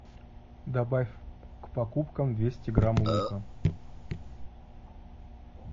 добавь к покупкам двести грамм лука